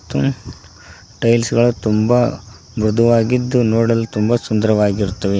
ಮತ್ತು ಟೈಲ್ಸ್ ಗಳು ತುಂಬಾ ಮೃದುವಾಗಿದ್ದು ನೋಡಲು ತುಂಬ ಸುಂದರವಾಗಿರುತ್ತವೆ